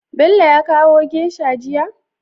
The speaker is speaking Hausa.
Bello ya kawo geisha jiya?